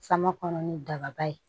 Sama kɔnɔ ni daba ye